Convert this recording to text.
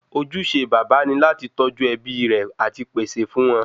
Ojúṣe baba ni láti tọ́jú ẹbí rè àti pèsè fún wọn